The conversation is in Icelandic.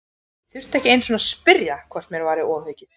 Ég þurfti ekki einu sinni að spyrja hvort mér væri ofaukið.